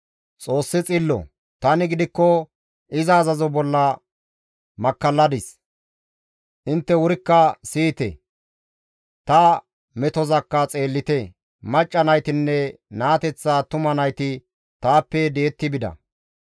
«Xoossi xillo; tani gidikko iza azazo bolla makkalladis; intte wurikka siyite; ta metozakka xeellite; macca naytinne naateththa attuma nayti taappe di7etti bida.